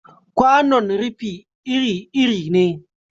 Kwanon rufi iri-iri ne.